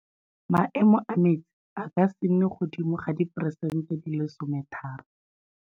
Maemo a metsi a ka se nne godimo ga diperesente di le 13.